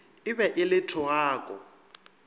e be e le thogako